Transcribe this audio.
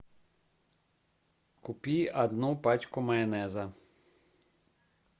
купи одну пачку майонеза